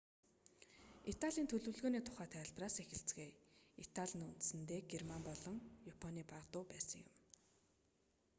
италийн төлөвлөгөөний тухай тайлбараас эхэлцгээе итали нь үндсэндээ герман болон японы бага дүү байсан юм